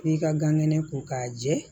I ka gan kɛnɛ ko k'a jɛ